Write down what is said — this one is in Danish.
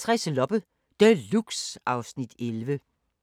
Torsdag d. 3. august 2017